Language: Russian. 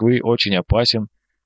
вы очень опасен